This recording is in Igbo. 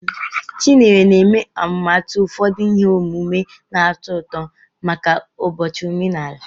Chinyere na-eme atụmatụ ụfọdụ ihe omume na-atọ ụtọ maka ụbọchị omenala.